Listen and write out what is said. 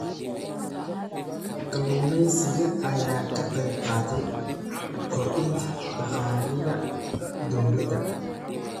Kalluumeysiga ayaa ka qayb qaata kordhinta dakhliga dowladda.